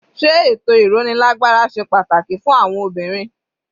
Sé ètò ìrónilágbára ṣe pàtàkì fún àwọn obìnrin?